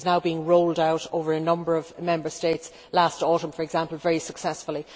It is now being rolled out over a number of Member States last autumn, for example very successfully.